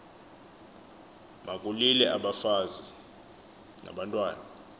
makulile abafazi nabantwana